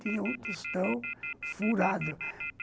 Tinha um tostão furado.